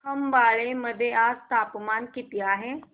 खंबाळे मध्ये आज तापमान किती आहे